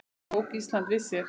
Þá tók Ísland við sér.